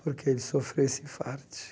Porque ele sofreu esse infarte.